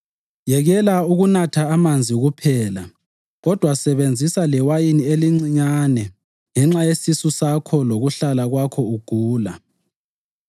Yekela ukunatha amanzi kuphela kodwa sebenzisa lewayini elincinyane ngenxa yesisu sakho lokuhlala kwakho ugula.